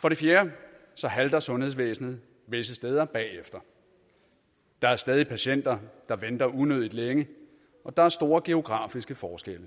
for det fjerde halter sundhedsvæsenet visse steder bagefter der er stadig patienter der venter unødig længe og der er store geografiske forskelle